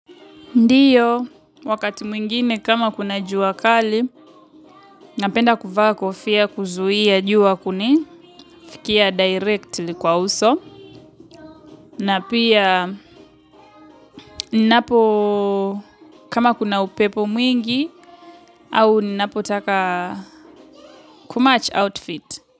Ndiyo, wakati mwingine kama kuna jua kali, napenda kuvaa kofia kuzuia jua kuni, fikia direct li kwa uso, na pia ninapo kama kuna upepo mwingi, au ninapo taka kumach outfit.